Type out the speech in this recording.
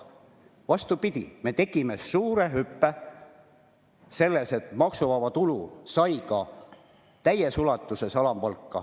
Vastupidi, me tegime suure hüppe, et alampalk sai täies ulatuses maksuvabaks.